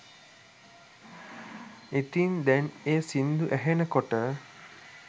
ඉතින් දැන් ඒ සින්දු ඇහෙනකොට